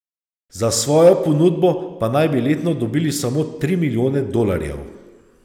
Za svojo ponudbo pa naj bi letno dobili samo tri milijone dolarjev.